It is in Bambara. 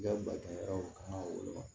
yɔrɔ kan ka wele wa